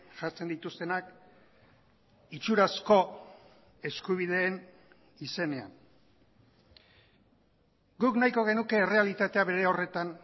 jartzen dituztenak itxurazko eskubideen izenean guk nahiko genuke errealitatea bere horretan